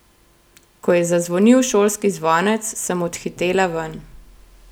Ko je zazvonil šolski zvonec, sem odhitela ven.